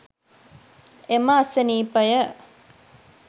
එම අසනීපය